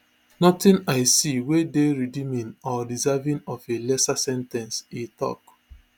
nothing i see wey dey redeeming or deserving of a lesser sen ten ce e tok